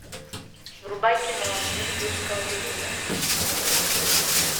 врубай кино мир юрского периода